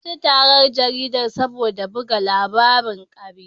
An ci tarar jaridar saboda buga labarin ƙarya.